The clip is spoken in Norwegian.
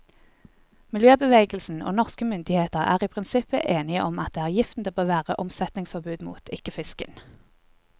Miljøbevegelsen og norske myndigheter er i prinsippet enige om at det er giften det bør være omsetningsforbud mot, ikke fisken.